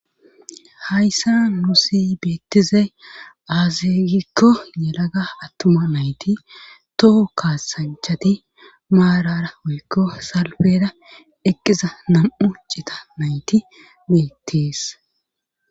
hayssa nuusi beettize aazegikko yelaga attuma nayti toho kaasanchati maarara wuykko salfeda eqqiza nam7u cita nayti beettis